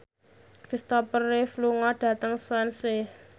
Christopher Reeve lunga dhateng Swansea